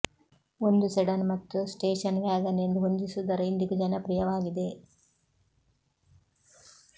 ಒಂದು ಸೆಡನ್ ಮತ್ತು station wagon ಎಂದು ಹೊಂದಿಸುವುದರ ಇಂದಿಗೂ ಜನಪ್ರಿಯವಾಗಿದೆ